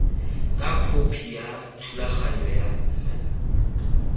ka khopi ya thulaganyo ya